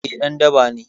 Eh ɗan daba ne